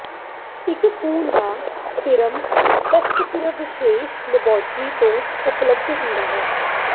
ਇੱਕ ਖੂਨ ਦਾ ਸੀਰਮ ਟੈਸਟ ਸਿਰਫ ਵਿਸ਼ੇਸ਼ ਲੈਬਾਰਟਰੀਆਂ ਤੋਂ ਉਪਲਬਧ ਹੁੰਦਾ ਹੈ